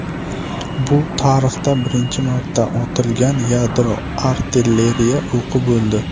Bu tarixda birinchi marta otilgan yadro artilleriya o‘qi bo‘ldi.